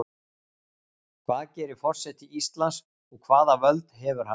Hvað gerir forseti Íslands og hvaða völd hefur hann?